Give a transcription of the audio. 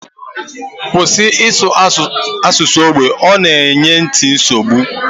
Kwụsị ịsụ asụsụ ógbè! Ọ na-enye nti m nsogbu